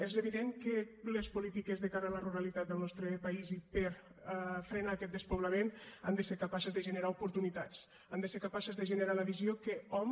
és evident que les polítiques de cara a la ruralitat del nostre país i per frenar aquest despoblament han de ser capaces de generar oportunitats han de ser capaces de generar la visió que hom